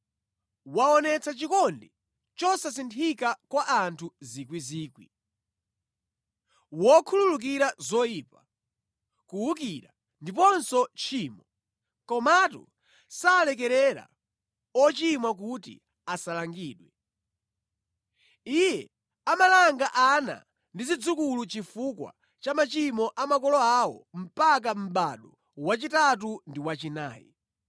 waonetsa chikondi chosasinthika kwa anthu miyandamiyanda, wokhululukira zoyipa, kuwukira, ndiponso tchimo, komatu salekerera ochimwa kuti asalangidwe. Iye amalanga ana ndi zidzukulu chifukwa cha machimo a makolo awo mpaka mʼbado wachitatu ndi wachinayi.”